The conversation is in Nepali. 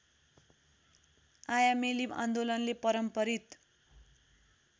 आयामेली आन्दोलनले परम्परित